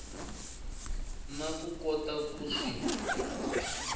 na ku kota ku swi